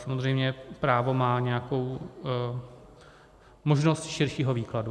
Samozřejmě právo má nějakou možnost širšího výkladu.